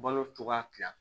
Balo cogoya tila